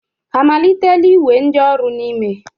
Ha amalitela iwe ndioru n'ime?